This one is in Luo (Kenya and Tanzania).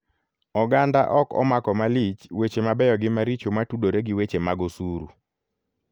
Oganda ok omako malich weche mabeyo gi maricho matudore gi weche mag osuru.